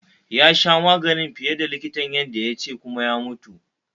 yasha maganin fiye da likitan ya ƙaiyade kuma ya mutu.